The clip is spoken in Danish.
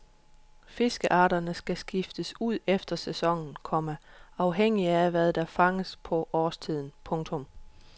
Fiskearterne kan skiftes ud efter sæsonen, komma afhængig af hvad der fanges på årstiden. punktum